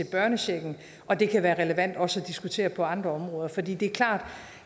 børnechecken og det kan være relevant også at diskutere på andre områder for det er klart at